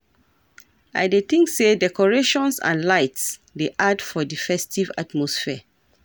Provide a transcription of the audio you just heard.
I dey think say decorations and lights dey add for di festive atmosphere